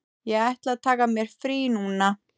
Ég ætla að taka mér frí núna.